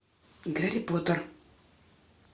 гарри поттер